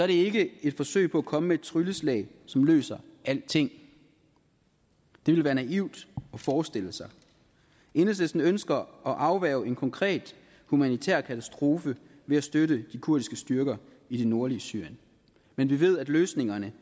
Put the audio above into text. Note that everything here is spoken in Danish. det ikke et forsøg på at komme med trylleslag løser alting det ville være naivt at forestille sig enhedslisten ønsker at afværge en konkret humanitær katastrofe ved at støtte de kurdiske styrker i det nordlige syrien men vi ved at løsningerne